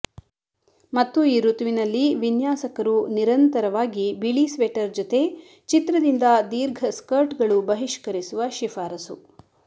ಮತ್ತು ಈ ಋತುವಿನಲ್ಲಿ ವಿನ್ಯಾಸಕರು ನಿರಂತರವಾಗಿ ಬಿಳಿ ಸ್ವೆಟರ್ ಜೊತೆ ಚಿತ್ರದಿಂದ ದೀರ್ಘ ಸ್ಕರ್ಟ್ಗಳು ಬಹಿಷ್ಕರಿಸುವ ಶಿಫಾರಸು